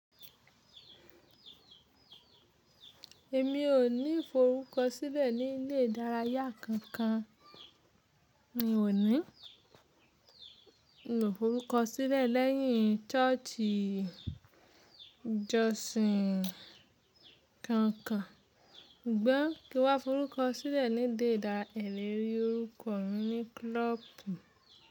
Èmi ò ní forúkọ sílẹ̀ ní ilé ìdárayá kankan. Mi ò ní mo forúkọ sílẹ̀ lẹ́yìn ṣọ́ọ̀ṣì ijosin kankan. Sugbon kí n wá forúkọ sílẹ̀ ní dé idara e ni rí orúkọ mi ní klọ́ọ̀bù.